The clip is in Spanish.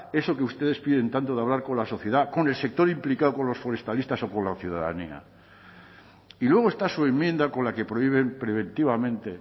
eso que ustedes piden tanto de hablar con la sociedad con el sector implicado con los forestalistas o con la ciudadanía y luego está su enmienda con la que prohíben preventivamente